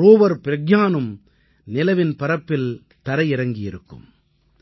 rover ப்ரஞானும் நிலவின் பரப்பில் தரையிறங்கும்